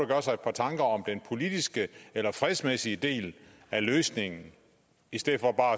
gøre sig et par tanker om den politiske eller fredsmæssige del af løsningen i stedet for bare